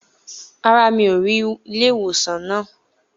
Rárá, mi ò rí ilé ìwòsàn náà.